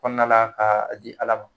Kɔnɔna la ka di Ala